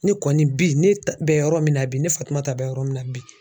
Ne kɔni bi ne bɛ yɔrɔ min na bi ne Fatumata bɛ yɔrɔ min na bi